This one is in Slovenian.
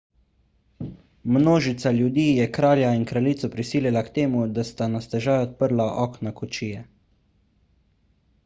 množica ljudi je kralja in kraljico prisilila k temu da sta na stežaj odprla okna kočije